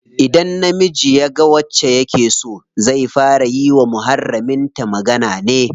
Idan namiji yaga wacce yake so, zai fara yi wa muharramin ta magana ne.